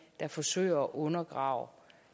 forsøger at undergrave